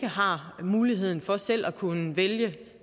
har muligheden for selv at kunne vælge